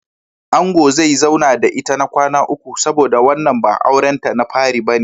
Angon zai zauna da ita na kwana uku saboda wannan ba auren ta na fari bane.